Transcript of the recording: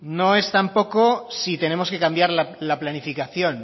no es tampoco si tenemos que cambiar la planificación